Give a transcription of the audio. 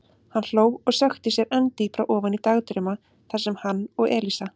Hann hló og sökkti sér enn dýpra ofan í dagdrauma þar sem hann og Elísa.